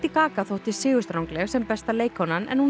gaga þótti sigurstrangleg sem besta leikkonan en hún